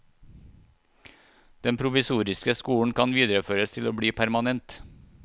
Den provisoriske skolen kan videreføres til å bli permanent.